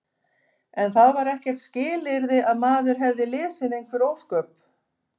En það var ekkert skilyrði að maður hefði lesið einhver ósköp.